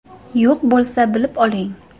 Yo‘q bo‘lsa bilib oling.